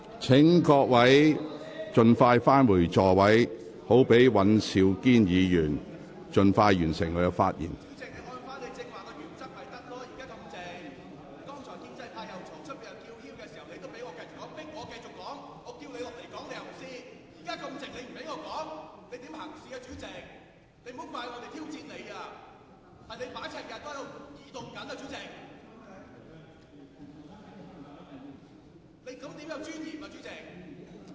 請各位議員盡快返回座位，讓尹兆堅議員盡快完成發言。